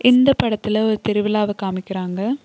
இந்த படத்துல ஒரு திருவிழாவ காமிக்கிறாங்க.